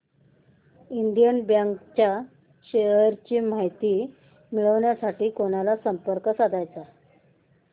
Indian bank च्या shares ची माहिती मिळविण्यासाठी कोणाला संपर्क साधायचा